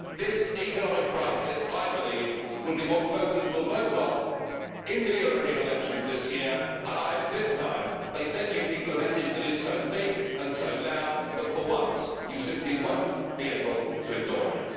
The economic crisis will, I believe, be what voters will vote on in the European elections this year, and I hope this time they send you people a message that is so big and so loud that, for once, you simply will not be able to ignore it.